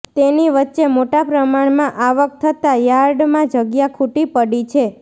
તેની વચ્ચે મોટા પ્રમાણમાં આવક થતાં યાર્ડમાં જગ્યા ખૂટી પડી છે